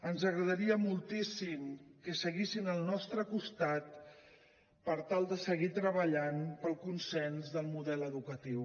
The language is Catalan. ens agradaria moltíssim que seguissin al nostre costat per tal de seguir treballant pel consens del model educatiu